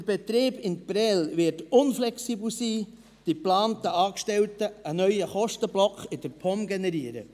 Der Betrieb in Prêles wird unflexibel sein, die geplanten Angestellten einen neuen Kostenblock in der POM generieren.